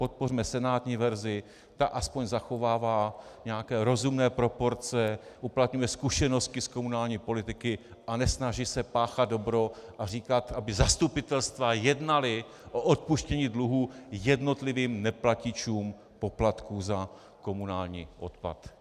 Podpořme senátní verzi, ta aspoň zachovává nějaké rozumné proporce, uplatňuje zkušenosti z komunální politiky a nesnaží se páchat dobro a říkat, aby zastupitelstva jednala o odpuštění dluhů jednotlivým neplatičům poplatků za komunální odpad.